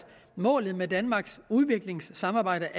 målet med danmarks udviklingssamarbejde